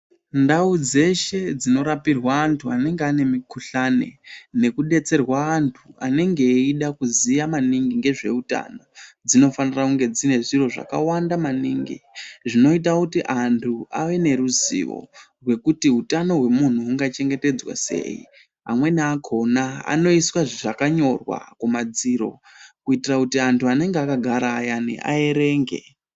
Ndau dzeshe dzinorapirwa anthu anenge ane mukuhlani nekudetserwa anthu anenge eida kuziya maningi ngezveutano dzinofanirwa kunge dzine zviro zvakawanda maningi zvinoita kuti anthu awe neruziwo rwekuti utano hwemunthu hungachetedzwa sei amweni akona anoisa zvakanyorwa kumadziro kuitira kuti anthu anenge akagara ayani aerenge.